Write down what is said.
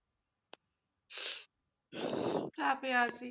চাপে আছি,